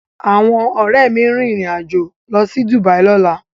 Awọn Òré mí rin ìrìn Ajọ ló sì Dubai lọla